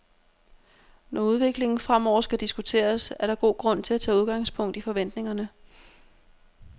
Når udviklingen fremover skal diskuteres, er der god grund til at tage udgangspunkt i forventningerne.